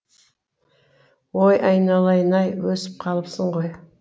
ой айналайын ай өсіп қалыпсың ғой